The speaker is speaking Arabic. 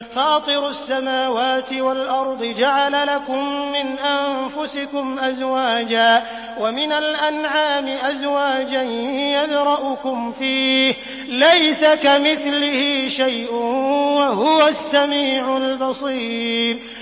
فَاطِرُ السَّمَاوَاتِ وَالْأَرْضِ ۚ جَعَلَ لَكُم مِّنْ أَنفُسِكُمْ أَزْوَاجًا وَمِنَ الْأَنْعَامِ أَزْوَاجًا ۖ يَذْرَؤُكُمْ فِيهِ ۚ لَيْسَ كَمِثْلِهِ شَيْءٌ ۖ وَهُوَ السَّمِيعُ الْبَصِيرُ